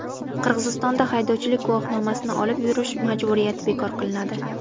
Qirg‘izistonda haydovchilik guvohnomasini olib yurish majburiyati bekor qilinadi.